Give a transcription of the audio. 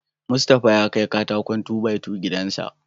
Mustapha ya kai katakon "2-by-2" gidan sa..